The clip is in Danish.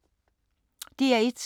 DR1